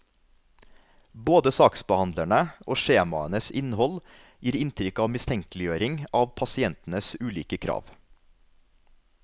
Både saksbehandlere og skjemaenes innhold gir inntrykk av mistenkeliggjøring av pasientenes ulike krav.